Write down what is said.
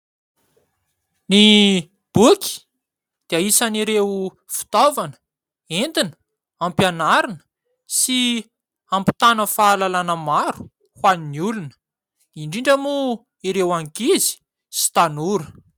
Ny boky dia isan'ireo fitaovana entina hampianarana sy hampitana fahalalana maro ho an'ny olona, indrindra moa ireo ankizy sy tanora.